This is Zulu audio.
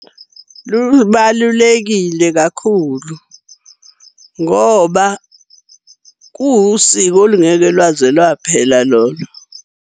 Lubalulekile kakhulu ngoba kuwusiko olungeke lwaze lwaphela lolo.